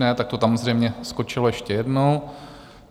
Ne, tak to tam zřejmě skočilo ještě jednou.